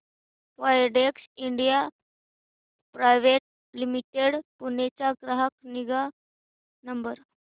Widex India private limited Pune चा ग्राहक निगा नंबर